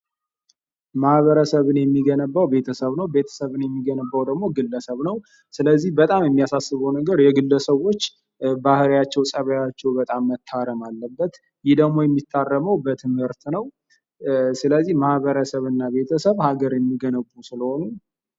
ማህበረሰብን የሚገነባው ቤተሰብ ነው፤ ቤተሰብን የሚገነባው ደግሞ ግለሰብ ነው። ስለዚህ በጣም የሚያሳስበው ነገረ የግለሰቦች ባህሪያቸው፣ ፀባያቸው በጣም መታረም አለበት። ይህ ደግሞ የሚታረመው በትምህርት ነው። ስለዚህ ማህበረሰብ እና ቤተሰብ ሀገርን የሚገነቡ ስለሆኑ።